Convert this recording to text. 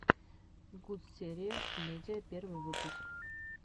гутсериев медиа первый выпуск